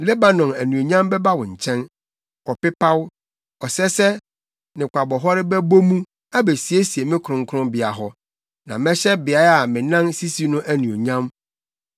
“Lebanon anuonyam bɛba wo nkyɛn, ɔpepaw, ɔsɛsɛ ne kwabɔhɔre bɛbɔ mu, abesiesie me kronkronbea hɔ; na mɛhyɛ beae a me nan sisi no anuonyam.